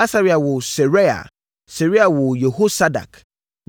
Asaria woo Seraia, Seraia woo Yehosadak.